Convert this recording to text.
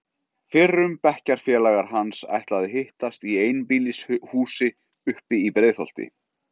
Fyrrum bekkjarfélagar hans ætla að hittast í einbýlishúsi uppi í Breiðholti.